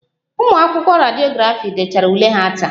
Ụmụ akwụkwọ Rediografi dechara ule ha taa